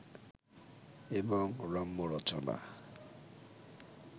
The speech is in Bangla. এবং রম্যরচনা